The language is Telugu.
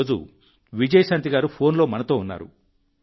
ఈరోజు విజయశాంతి గారు ఫోన్లో మనతో ఉన్నారు